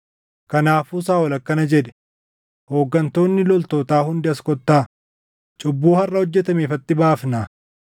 Kanaafuu Saaʼol akkana jedhe; “Hooggantoonni loltootaa hundi as kottaa; cubbuu harʼa hojjetame ifatti baafnaa.